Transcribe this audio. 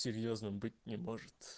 серьёзным быть не может